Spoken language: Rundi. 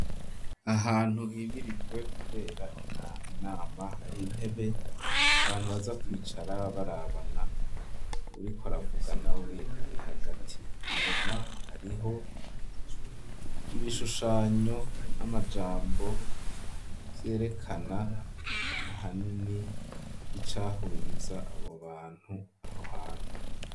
Ahantu himirirwe kubera inama hari intebe abantu baza kwicara barabana uwuriko aravuga nawe ari hagati, inyuma hariho ibishushanyo n'amajambo vyerekana ahanini icahuriza abobantu aho hantu.